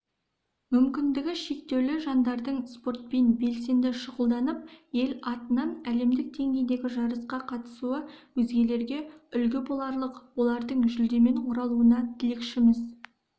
мүмкіндігі шектеулі жандардың спортпен белсенді шұғылданып ел атынан әлемдік деңгейдегі жарысқа қатысуы өзгелерге үлгі боларлық олардың жүлдемен оралуына тілекшіміз